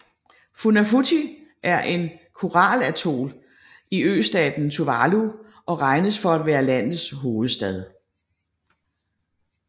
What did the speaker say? Funafuti er en koralatol i østaten Tuvalu og regnes for at være landets hovedstad